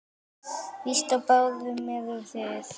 Víst á báðum eruð þið.